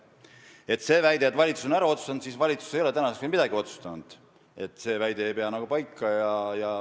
Selle väite kohta, nagu valitsus oleks selle ära otsustanud, ütlen, et valitsus ei ole tänaseks veel midagi ära otsustanud, väide ei pea paika.